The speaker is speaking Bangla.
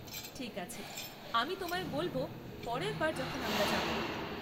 ঠিক আছে, আমি তোমায় বলব পরের বার যখন আমরা যাব।